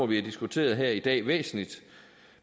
vi har diskuteret her i dag væsentligt